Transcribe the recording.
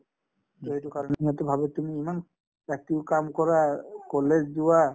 to সেইটো কাৰণে ইহঁতে ভাবে তুমি ইমান ৰাতিও কাম কৰা college যোৱা